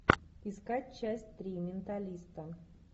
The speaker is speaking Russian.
искать часть три менталиста